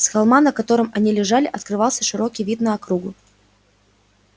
с холма на котором они лежали открывался широкий вид на округу